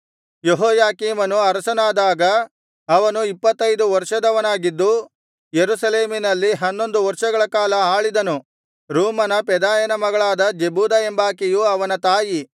ಯೆಹೋಯಾಕೀಮನು ಅರಸನಾದಾಗ ಅವನು ಇಪ್ಪತ್ತೈದು ವರ್ಷದವನಾಗಿದ್ದು ಯೆರೂಸಲೇಮಿನಲ್ಲಿ ಹನ್ನೊಂದು ವರ್ಷಗಳ ಕಾಲ ಆಳಿದನು ರೂಮನ ಪೆದಾಯನ ಮಗಳಾದ ಜೆಬೂದಾ ಎಂಬಾಕೆಯು ಅವನ ತಾಯಿ